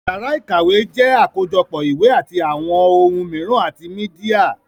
Yàrá ìkàwé jẹ́ àkójọpọ̀ ìwé àti àwọn ohun mìíràn àti mídíà